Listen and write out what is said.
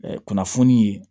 kunnafoni ye